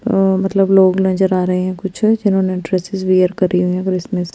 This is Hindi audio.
अ मतलब लोग नज़र आ रहे है कुछ है जिन होने ड्रेस्सेस वेयर की हुई है और उसमे --